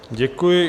Děkuji.